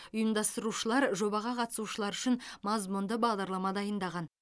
ұйымдастырушылар жобаға қатысушылар үшін мазмұнды бағдарлама дайындаған